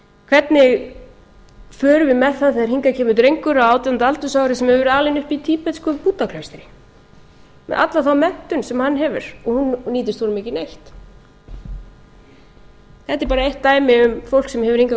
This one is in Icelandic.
hvernig förum við með það þegar hingað kemur drengur á átjánda aldursári sem hefur verið alinn upp í tíbetsku búddaklaustri með alla þá menntun sem hann hefur og hún nýtist honum ekki neitt þetta er bara eitt dæmi um fólk sem hefur hingað